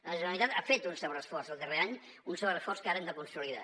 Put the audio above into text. la generalitat ha fet un sobreesforç el darrer any un sobreesforç que ara hem de consolidar